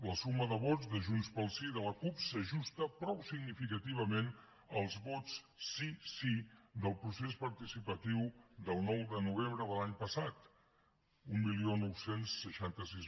la suma de vots de junts pel sí i de la cup s’ajusta prou significativament als vots sí sí del procés participatiu del nou de novembre de l’any passat dinou seixanta sis